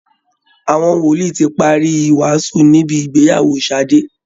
Àwọn wòlíì ti parí ìwàásù níbi ìgbeyàwó Ṣàdé